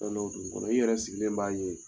Fɛn dɔw don i kɔnɔ, i yɛrɛ sigilen b'a ye